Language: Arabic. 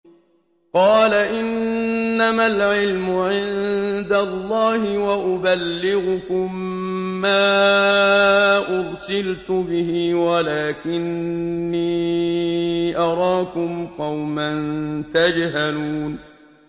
قَالَ إِنَّمَا الْعِلْمُ عِندَ اللَّهِ وَأُبَلِّغُكُم مَّا أُرْسِلْتُ بِهِ وَلَٰكِنِّي أَرَاكُمْ قَوْمًا تَجْهَلُونَ